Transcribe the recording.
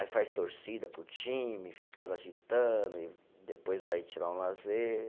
Aí faz torcida para o time, fica lá agitando e, depois vai tirar um lazer.